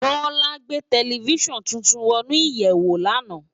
Bola gbé tábìlí tútùn wònú iyèwó làná